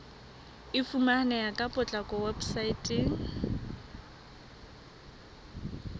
e fumaneha ka potlako weposaeteng